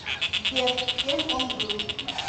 сбер кем он был